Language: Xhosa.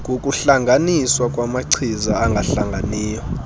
ngokuhlanganiswa kwamachiza angahlanganiyo